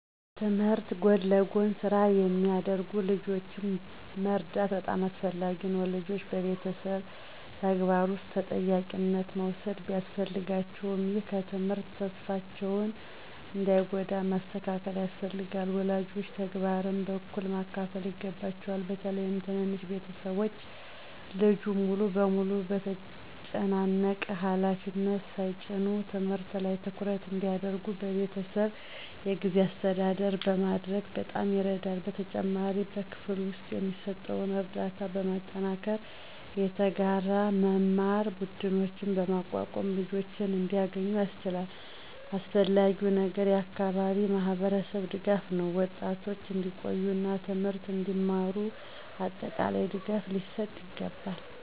ከትምህርት ጎን ለጎን ስራ የሚያደርጉ ልጆችን መርዳት በጣም አስፈላጊ ነው። ልጆች በቤተሰብ ተግባር ውስጥ ተጠያቂነት መውሰድ ቢያስፈልጋቸውም፣ ይህ ከትምህርት ተስፋቸውን እንዳይጎዳ ማስተካከል ያስፈልጋል። ወላጆች ተግባርን በእኩል ማካፈል ይገባቸዋል፣ በተለይም ትንንሽ ቤተሰቦች ልጁን ሙሉ በሙሉ በተጨናነቀ ሃላፊነት ሳይጭኑ። ትምህርት ላይ ትኩረት እንዲያደርጉ በቤተሰብ የጊዜ አስተዳደር ማድረግ በጣም ይረዳል። በተጨማሪም በክፍል ውስጥ የሚሰጠውን ርዳታ በማጠናከር፣ የተጋራ መማር ቡድኖችን በማቋቋም ልጆች እንዲያገኙ ያስችላል። አስፈላጊው ነገር የአካባቢ ማህበረሰብ ድጋፍ ነው፤ ወጣቶች እንዲቆዩ እና ትምህርትን እንዲማሩ አጠቃላይ ድጋፍ ሊሰጥ ይገባል።